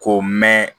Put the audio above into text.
K'o mɛn